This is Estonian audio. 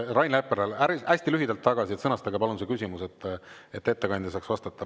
Rain Epler, hästi lühidalt tagasi, sõnastage palun see küsimus, et ettekandja saaks vastata.